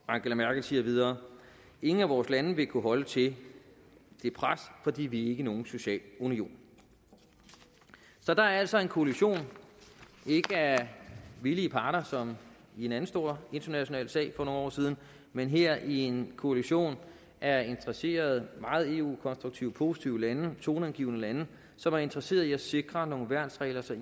angela merkel siger videre ingen af vores lande vil kunne holde til det pres fordi vi er ikke nogen social union så der er altså en koalition ikke af villige parter som i en anden stor international sag for nogle år siden men her en koalition af interesserede meget eu konstruktive og positive lande toneangivende lande som er interesseret i at sikre nogle værnsregler så